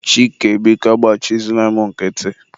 Chike, biko agbachizina mụ nkịtị.